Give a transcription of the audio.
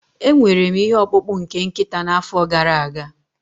Enwere m ihe ọkpụkpụ nke nkịta n'afọ gara aga